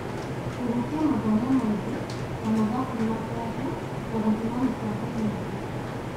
Kũhutia mathomo maingĩ ( ta, mathabu na mĩario) na gũthima mĩbango mĩingĩ.